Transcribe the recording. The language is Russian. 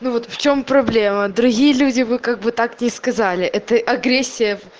ну вот в чём проблема другие люди вы как бы так не сказали это агрессия